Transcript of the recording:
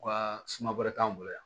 Wa suma wɛrɛ t'an bolo yan